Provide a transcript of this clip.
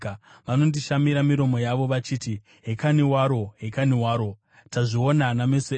Vanondishamira miromo yavo vachiti, “Hekani waro! Hekani waro! Tazviona nameso edu.”